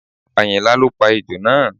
Àyìnlá ló pa ejò náà